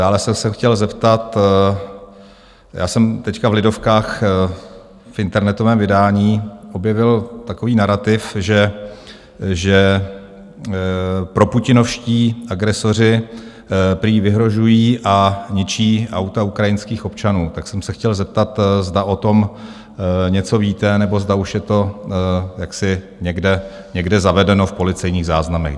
Dále jsem se chtěl zeptat, já jsem teď v Lidovkách v internetovém vydání objevil takový narativ, že proputinovští agresoři prý vyhrožují a ničí auta ukrajinských občanů, tak jsem se chtěl zeptat, zda o tom něco víte nebo zda už je to někde zavedeno v policejních záznamech.